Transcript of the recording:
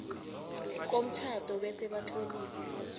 komtjhado bese batlolisa